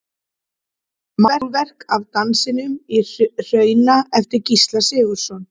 Málverk af Dansinum í Hruna eftir Gísla Sigurðsson.